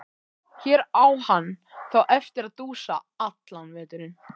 Hér á hann þá eftir að dúsa allan veturinn.